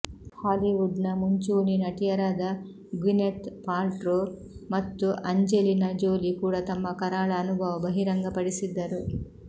ಹಾಲಿವುಡ್ನ ಮುಂಚೂಣಿ ನಟಿಯರಾದ Gwyneth Paltrow ಮತ್ತು ಆಂಜೆಲಿನಾ ಜೋಲಿ ಕೂಡ ತಮ್ಮ ಕರಾಳ ಅನುಭವ ಬಹಿರಂಗಪಡಿಸಿದ್ದರು